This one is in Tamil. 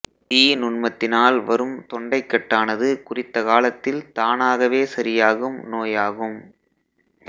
தீநுண்மத்தினால் வரும் தொண்டைக்கட்டானது குறித்த காலத்தில் தானாகவே சரியாகும் நோயாகும்